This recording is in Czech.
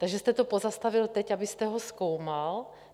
Takže jste to pozastavil teď, abyste ho zkoumal?